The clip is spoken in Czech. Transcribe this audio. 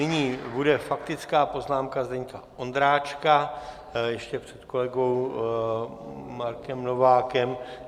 Nyní bude faktická poznámka Zdeňka Ondráčka ještě před kolegou Markem Novákem.